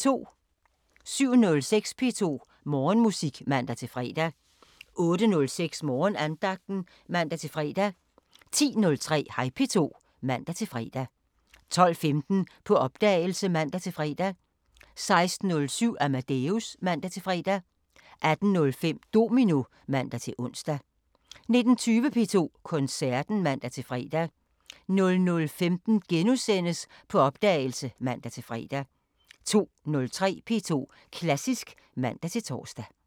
07:06: P2 Morgenmusik (man-fre) 08:06: Morgenandagten (man-fre) 10:03: Hej P2 (man-fre) 12:15: På opdagelse (man-fre) 16:07: Amadeus (man-fre) 18:05: Domino (man-ons) 19:20: P2 Koncerten (man-fre) 00:15: På opdagelse *(man-fre) 02:03: P2 Klassisk (man-tor)